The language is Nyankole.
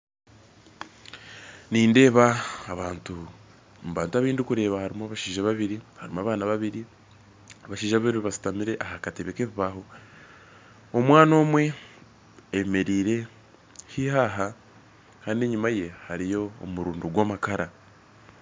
Nindeeba abantu mu bantu abandukureeba harimu abashaija babiri harimu abaana babiri abashaija bashutamire aha katebe ka ebibaho omwana omwe ayemeriire haihi aha kandi enyuma ye hariyo omurundu gwa amakara